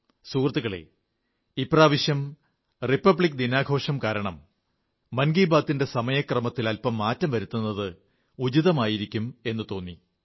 സുഹൃത്തുക്കളേ ഇപ്രാവശ്യം റിപ്പബ്ലിക് ദിനാഘോഷം കാരണം മൻ കീ ബാത്തി ന്റെ സമയത്തിൽ അൽപ്പം മാറ്റം വരുത്തുന്നത് ഉചിതമായിരിക്കുമെന്നു തോന്നി